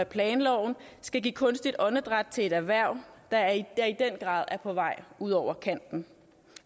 planloven skal give kunstigt åndedræt til et erhverv der i den grad er på vej ud over kanten